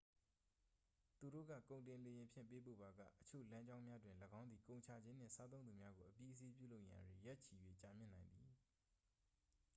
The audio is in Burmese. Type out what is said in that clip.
သူတို့က ကုန်တင်လေယာဉ်ဖြင့် ပေးပို့ပါက အချို့လမ်းကြောင်းများတွင် ၎င်းသည် ကုန်ချခြင်းနှင့် စားသုံးသူများကို အပြီးအစီးပြုလုပ်ရန် ရက်ချီ၍ ကြာမြင့်နိုင်သည်